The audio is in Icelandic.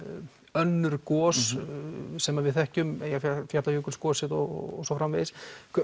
önnur gos sem að við þekkjum Eyjafjallafökulsgosið og svo framvegis